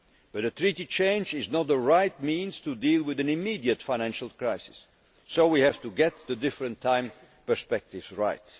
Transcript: direction. But a treaty change is not the right way to deal with an immediate financial crisis. So we have to get the different time perspectives